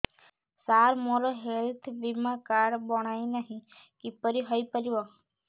ସାର ମୋର ହେଲ୍ଥ ବୀମା କାର୍ଡ ବଣାଇନାହିଁ କିପରି ହୈ ପାରିବ